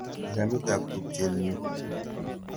Kilamit ap tupchet nyu.